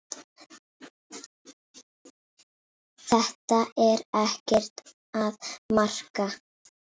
Þetta er ekkert að marka.